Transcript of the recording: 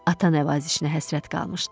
Ata nəvazişinə həsrət qalmışdı.